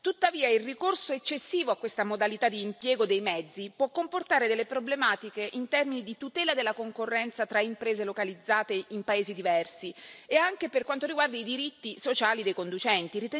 Tuttavia il ricorso eccessivo a questa modalità di impiego dei mezzi può comportare delle problematiche in termini di tutela della concorrenza tra imprese localizzate in paesi diversi e anche per quanto riguarda i diritti sociali dei conducenti.